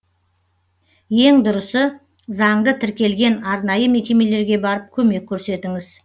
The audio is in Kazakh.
ең дұрысы заңды тіркелген арнайы мекемелерге барып көмек көрсетіңіз